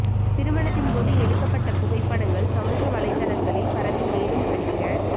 திருமணத்தின் போது எடுக்கப்பட்ட புகைப்படங்கள் சமூக வலைதளங்களில் பரவி மேலும் படிக்க